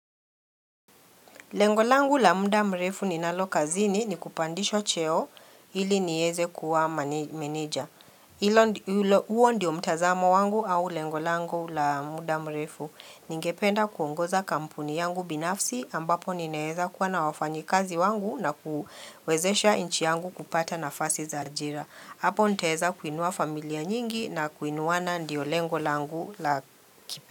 Lengo langu la muda mrefu ninalo kazini ni kupandishwa cheo ili nieze kuwa mane meneja. Hilo ndi mlo huo ndio mtazamo wangu au lengo langu la muda mrefu. Ningependa kuongoza kampuni yangu binafsi ambapo ninaeza kuwa na wafanyikazi wangu na kuwezesha inchi yangu kupata nafasi za ajira. Hapo nitaweza kuinua familia nyingi na kuinuana ndio lengo langu la kipe.